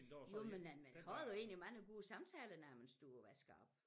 Jo men man har jo egentlig mange gode samtaler når man står og vasker op